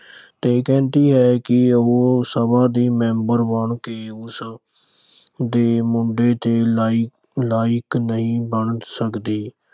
ਤੇ ਕਹਿੰਦੀ ਹੈ ਕਿ ਉਹ ਸਭਾ ਦੀ member ਬਣ ਕੇ ਉਸ ਦੇ ਮੁੰਡੇ ਦੇ ਲਾਇਕ ਨਹੀਂ ਬਣ ਸਕਦੀ।